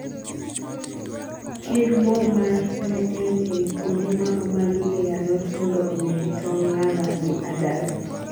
kir moo mar neem ei kuonde ma omagi ei alot mondo oneg tong' larvae gi adults